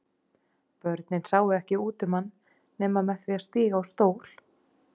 Börn sáu ekki út um hann nema með því að stíga á stól.